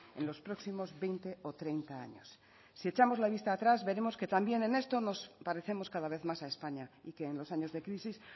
en los próximos veinte o treinta años si echamos la vista atrás veremos que también en esto nos parecemos cada vez más a españa y que en los años de crisis